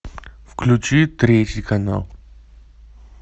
включи третий канал